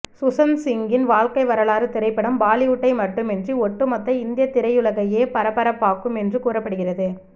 சுஷாந்த்சிங்கின் வாழ்க்கை வரலாறு திரைப்படம் பாலிவுட்டை மட்டுமின்றி ஒட்டுமொத்த இந்திய திரையுலகையே பரபரப்பாக்கும் என்று கூறப்படுகிறது